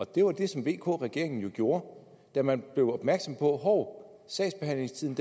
det var det som vk regeringen jo gjorde da man blev opmærksom på hov sagsbehandlingstiden